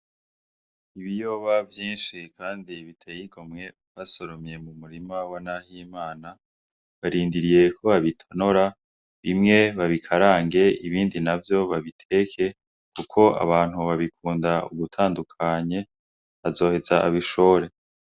Ibiyoba vyinshi kandi biteye igomwe basoromye mu murima wa Nahimana, barindiriye ko babitonora, bimwe babikarange ibindi babiteke kuko abantu babikunda ugutandukanye, bazoheza babishore.